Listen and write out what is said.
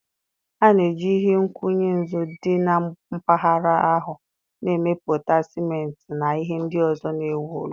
A na-eji ihe nkwụnye nzu dị na mpaghara ahụ na-emepụta ciment na ihe ndị ọzọ na-ewu ụlọ.